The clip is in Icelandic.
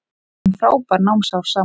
Við áttum frábær námsár saman.